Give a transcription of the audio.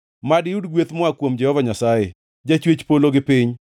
Mad iyud gweth moa kuom Jehova Nyasaye, jachwech polo gi piny.